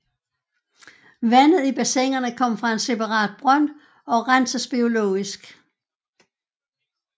Vandet i bassinerne kommer fra en separat brønd og renses biologisk